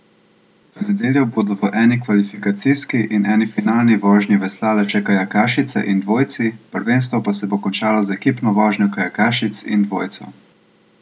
V nedeljo bodo v eni kvalifikacijski in eni finalni vožnji veslale še kajakašice in dvojci, prvenstvo pa se bo končalo z ekipno vožnjo kajakašic in dvojcev.